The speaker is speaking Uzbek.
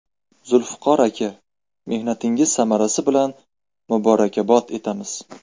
Zulfiqor aka, mehnatingiz samarasi bilan muborakbod etamiz!